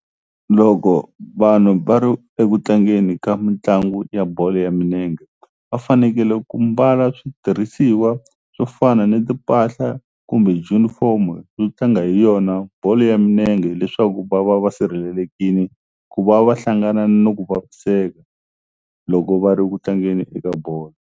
Loko vanhu va ri eku tlangeni ka mitlangu ya bolo ya minenge va fanekele ku mbala switirhisiwa swo fana ni timpahla kumbe junifomo yo tlanga hi yona bolo ya minenge hileswaku va va va sirhelelekini ku va va hlangana ni ku vaviseka loko va ri ku tlangeni eka bolo.